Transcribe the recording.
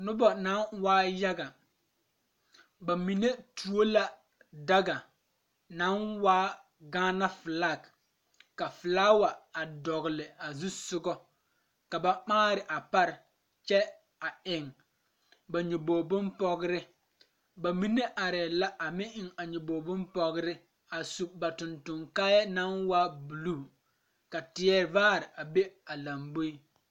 Nobɔ naŋ waa yaga ba mine tuo la daga naŋ waa gaana flak ka flaawa a dɔgle a zusugɔ la ba maare a pare kyɛ a eŋ ba nyoboge bonpɔgrre ba mine arɛɛ la a meŋ eŋ a nyobogre bonpɔgre a su ba tonton kaayɛɛ naŋ waa bluu ka teɛ vaare a be a lamboe.